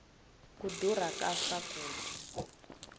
ku durha ka swakudya